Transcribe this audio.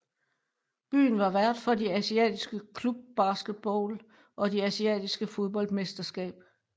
Byen var vært for de asiatiske Club basketball og de asiatiske fodboldmesterskab